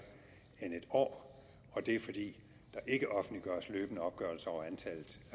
end en år og det er fordi der ikke offentliggøres løbende opgørelser over antallet